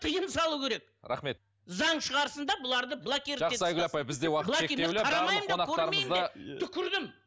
тиым салу керек рахмет заң шығарсын да бұларды блокировать етіп тастасын